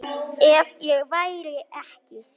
Ef ég væri ekki